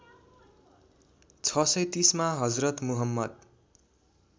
६३० मा हजरत मुहम्मद